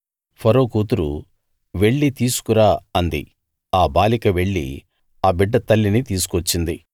ఫరో కూతురు వెళ్లి తీసుకు రా అంది ఆ బాలిక వెళ్లి ఆ బిడ్డ తల్లిని తీసుకు వచ్చింది